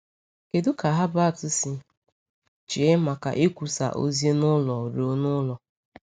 Kedu ka Herbert si chee maka ikwusa ozi n’ụlọ ruo n’ụlọ?